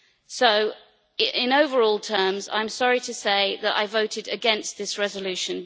So in overall terms, I am sorry to say that I voted against this resolution.